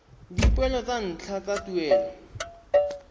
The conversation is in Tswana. dipoelo tsa ntlha tsa tuelo